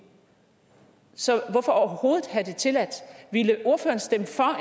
så hvorfor overhovedet have det tilladt ville ordføreren stemme for